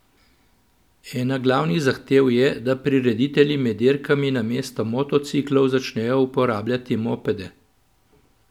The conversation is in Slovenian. Ena glavnih zahtev je, da prireditelji med dirkami namesto motociklov začnejo uporabljati mopede.